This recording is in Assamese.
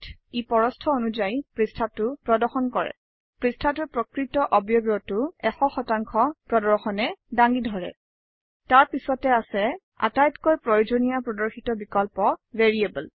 ই প্ৰস্থ অনুযায়ী পৃষ্ঠাটো প্ৰদৰ্শন কৰে পৃষ্ঠাটোৰ প্ৰকৃত অৱয়ৱটো 100 প্ৰদৰ্শনে দাঙি ধৰে তাৰ পিছতে আছে আটাইতকৈ প্ৰয়োজনীয় প্ৰদৰ্শিত বিকল্প - ভেৰিয়েবল